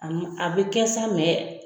A a bɛ kɛ sa mɛ